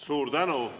Suur tänu!